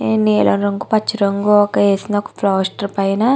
నీలం రంగు పచ్చరంగు వేసిన ఒక పోస్టర్ పైన --